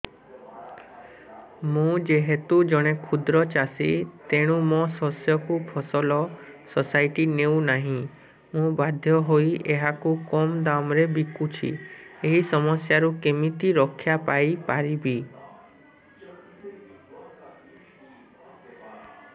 ମୁଁ ଯେହେତୁ ଜଣେ କ୍ଷୁଦ୍ର ଚାଷୀ ତେଣୁ ମୋ ଶସ୍ୟକୁ ଫସଲ ସୋସାଇଟି ନେଉ ନାହିଁ ମୁ ବାଧ୍ୟ ହୋଇ ଏହାକୁ କମ୍ ଦାମ୍ ରେ ବିକୁଛି ଏହି ସମସ୍ୟାରୁ କେମିତି ରକ୍ଷାପାଇ ପାରିବି